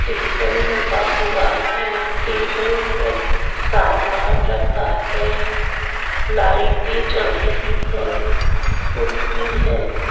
Table लगा हुआ है टेबल पर सामान रखा है लाइटे जल रही है कुर्सी है।